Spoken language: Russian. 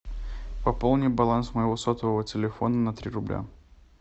пополни баланс моего сотового телефона на три рубля